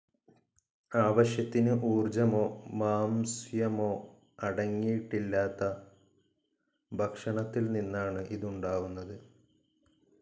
ആവശ്യത്തിന് ഊർജ്ജമോ മാംസ്യമോ അടങ്ങിയിട്ടില്ലാത്ത ഭക്ഷണത്തിൽ നിന്നാണ് ഇതുണ്ടാവുന്നത്.